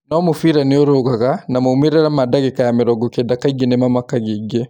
No mũbira nĩ ũrũgaga, na maumĩ rĩ ra ma dagĩ ka ya mĩ rongo kenda kaingĩ nĩ mamakagia aingĩ .